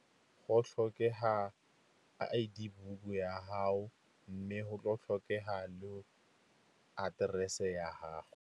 Go tlhokega I_D book ya gago mme go tlhokega aterese ya gago.